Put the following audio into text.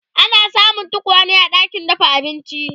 ana samun tokwane a ɗakin dafa abinci